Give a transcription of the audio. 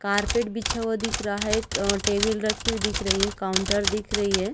Carpet बिछा हुआ दिख रहा है एक अ टेबिल रखी हुई दिख रही है काउंटर दिख रही है।